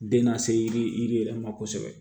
Den na se yiri yiri yiri yɛrɛ ma kosɛbɛ